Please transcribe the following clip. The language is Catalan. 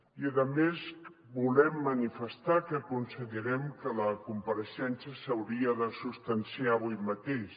i a més volem manifestar que considerem que la compareixença s’hauria de substanciar avui mateix